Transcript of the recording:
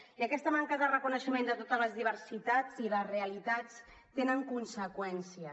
i aquesta manca de reconeixement de totes les diversitats i les realitats té conseqüències